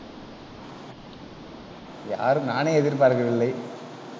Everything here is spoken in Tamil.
யாரும் நானே எதிர்பார்க்கவில்லை